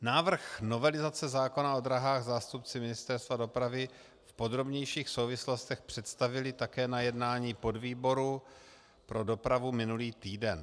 Návrh novelizace zákona o dráhách zástupci Ministerstva dopravy v podrobnějších souvislostech představili také na jednání podvýboru pro dopravu minulý týden.